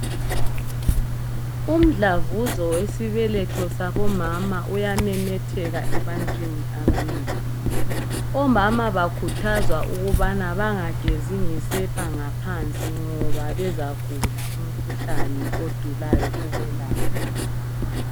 Umdlavuzo wesibeletho sabomama uyamemetheka ebantwini abanengi. Omama bakhuthazwa ukubana bangagezi ngesepa ngaphansi ngoba bezagula umkhuhlani odulayo ukwelapha.